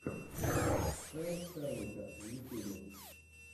хелл хеллнетер в ютьюбе